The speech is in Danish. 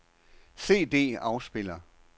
CD-afspiller